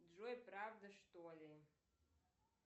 джой правда что ли